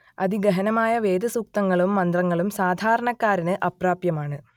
അതിഗഹനമായ വേദസുക്തങ്ങളും മന്ത്രങ്ങളും സാധാരണക്കാരന് അപ്രാപ്യമാണ്